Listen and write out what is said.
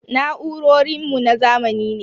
Na'urorin mu na zamani ne.